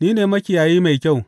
Ni ne makiyayi mai kyau.